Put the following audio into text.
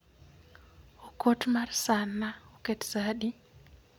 Okot mar sa na oket sa adi?